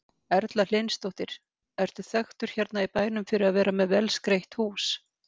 Erla Hlynsdóttir: Ertu þekktur hérna í bænum fyrir að vera með vel skreytt hús?